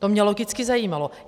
To mě logicky zajímalo.